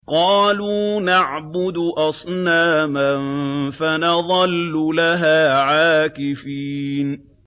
قَالُوا نَعْبُدُ أَصْنَامًا فَنَظَلُّ لَهَا عَاكِفِينَ